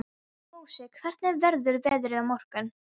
Mosi, hvernig verður veðrið á morgun?